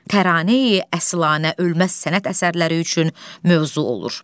Təraneyi əslana ölməz sənət əsərləri üçün mövzu olur.